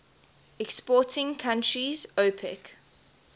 exporting countries opec